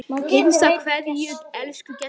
HINSTA KVEÐJA Elsku Gestur.